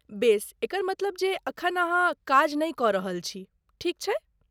बेस, एकर मतलब जे एखन अहाँ काज नै कऽ रहल छी, ठीक छै?